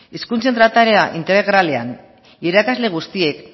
hezkuntza trataera integralean irakasle guztiek